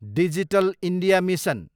digital India mission